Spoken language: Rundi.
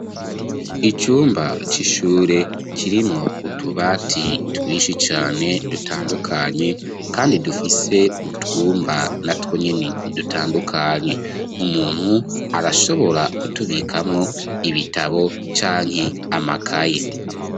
icumba c'ishure kirimwo utubati twishi cane dutandukanye kandi dufise utwumba na twonyene dutandukanye umuntu arashobora kutubikamwo ibitabo canke amakaye